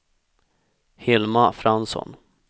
Hilma Fransson